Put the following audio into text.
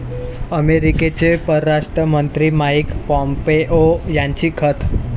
अमेरिकेचे परराष्ट्र मंत्री माईक पॉम्पेओ यांची खंत